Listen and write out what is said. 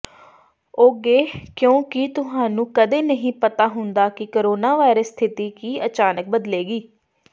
ੋਗੇ ਕਿਉਂਕਿ ਤੁਹਾਨੂੰ ਕਦੇ ਨਹੀਂ ਪਤਾ ਹੁੰਦਾ ਕਿ ਕੋਰੋਨਾਵਾਇਰਸ ਸਥਿਤੀ ਕੀ ਅਚਾਨਕ ਬਦਲੇਗੀ